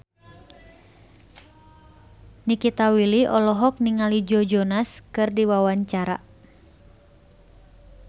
Nikita Willy olohok ningali Joe Jonas keur diwawancara